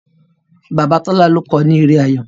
bàbà Tola ló kọ ni èrè ayọ